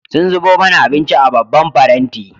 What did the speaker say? Sun zubo mana abinci a babban faranti.